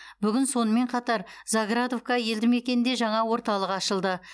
бүгін сонымен қатар заградовка елді мекенінде жаңа орталық ашылды